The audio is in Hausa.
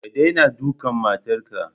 Ka daina dukan matarka!